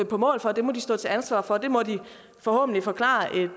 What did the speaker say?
på mål for det må de stå til ansvar for det må de forhåbentlig forklare